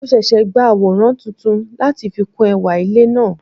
Mo sese gba aworan tuntun lati fi kun ewa ile naa